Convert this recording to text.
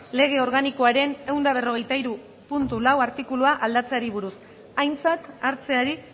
lege organikoaren ehun eta berrogeita hiru puntu lau artikulua aldatzeari buruz aintzat hartzeari